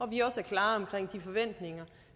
vi også er klare omkring de forventninger